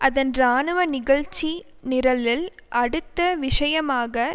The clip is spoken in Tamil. அதன் இராணுவ நிகழ்ச்சி நிரலில் அடுத்த விஷயமாக